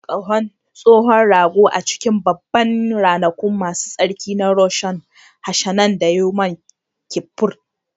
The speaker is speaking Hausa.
An busa ƙahon tsohon ragon a lokacin Babban Ranaku Masu Tsarki na Rosh Hashanah da Yom Kippur